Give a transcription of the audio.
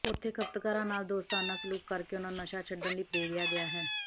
ਉੱਥੇ ਖ਼ਪਤਕਾਰਾਂ ਨਾਲ ਦੋਸਤਾਨਾਂ ਸਲੂਕ ਕਰਕੇ ਉਨ੍ਹਾਂ ਨੂੰ ਨਸ਼ਾ ਛੱਡਣ ਲਈ ਪ੍ਰੇਰਿਆ ਗਿਆ ਹੈ